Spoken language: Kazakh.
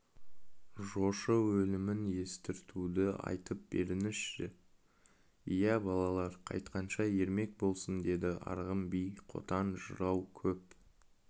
жошы өлімін естіртуді айтып беріңізші иә балалар қайтқанша ермек болсын деді арғын би қотан жырау көп